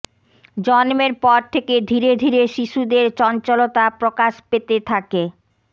জন্মের পর থেকে ধীরে ধীরে শিশুদের চঞ্চলতা প্রকাশ পেতে থাকে